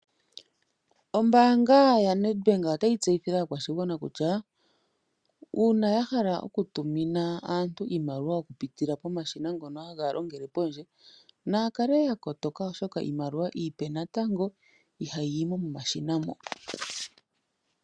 Ombaanga ya NedBank otayi tseyithile aakwashigwana kutya uuna ya hala okutumina aantu iimaliwa okupitila pomashina ngono haga longele pondje, naa kale ya kotoka oshoka iimaliwa iipe natango ihayi yi mo momashina mo.